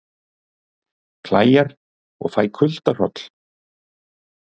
Klæjar og fæ kuldahroll